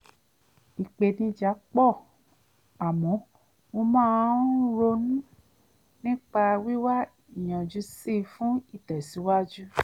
ìpèníjà pọ̀ àmọ́ mo máa ń ronú nípa wíwá ìyanjú sí i fún ìtẹ̀síwájú